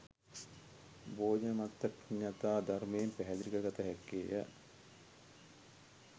භෝජනමත්තඤ්ඤුතා ධර්මයෙන් පැහැදිලි කර ගත හැක්කේය